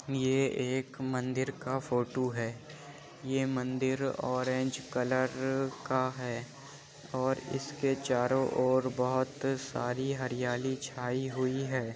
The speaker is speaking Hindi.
ये एक मंदिर का फोटू है। ये मंदिर ऑरेंज कलर का है और इसके चारों ओर बोहोत सारी हरियाली छाई हुई है।